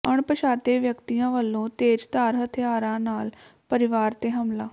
ਅਣਪਛਾਤੇ ਵਿਅਕਤੀਆਂ ਵੱਲੋਂ ਤੇਜ਼ਧਾਰ ਹਥਿਆਰਾਂ ਨਾਲ ਪਰਿਵਾਰ ਤੇ ਹਮਲਾ